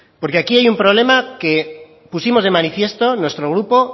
porque aquí hay un problema que pusimos de manifiesto nuestro grupo